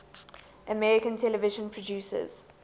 american television producers